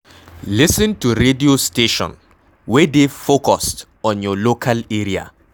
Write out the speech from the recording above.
Lis ten to radio station wey dey focused on your local area